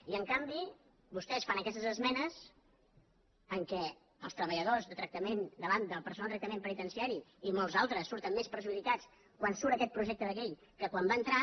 i en canvi vostès fan aquestes esmenes en què els treballadors de tractament del personal de tractament penitenciari i molts altres surten més perjudicats quan surt aquest projecte de llei que quan va entrar